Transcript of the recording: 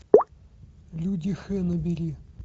люди х набери